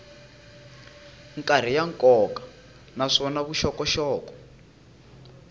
karhi ya nkoka naswona vuxokoxoko